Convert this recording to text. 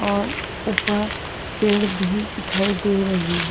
और ऊपर पेड़ भी दिखाई दे रही है।